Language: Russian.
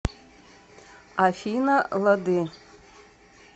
афина лады